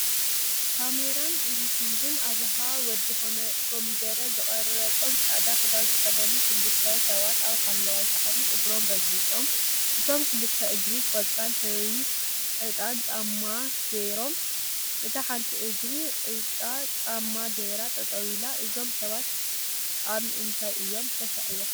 ካሜራን ኤድቲንግን አብርሃ/ወዲ ኮሚደረ ዝቀረፆም ፃዕዳ ክዳን ዝተከደኑ ክልተሰባት አብ ሓምለዋ ሳዕሪ እግሮም ረጊፆም፡፡ እቶም ክልተ እግሪ ቆፃል ሕብሪ እጣን ጫማ ገይሮም፡፡ እታ ሓንቲ እግሪ ዕጣን ጫማ ገይራ ጠጠው ኢላ፡፡ እዞም ሰባት አብ እንታይ እዮም ተሰቂሎም?